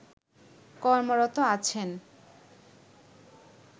কর্মরত আছেন